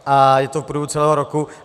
A je to v průběhu celého roku.